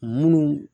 Munnu